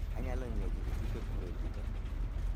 Anyalo nyie gik tuke kure buta